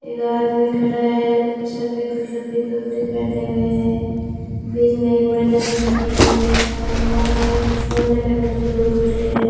एक आदमी खड़ा है सफेद कलर के कपड़े पहने हुए हैं बीच में एक मैडम खड़ी है सामने कोने कोने में कुछ लोग खड़े है।